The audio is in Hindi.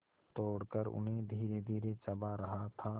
तोड़कर उन्हें धीरेधीरे चबा रहा था